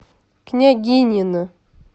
княгинино